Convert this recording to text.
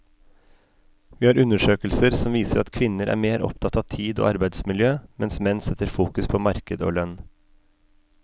Vi har undersøkelser som viser at kvinner er mer opptatt av tid og arbeidsmiljø, mens menn setter fokus på marked og lønn.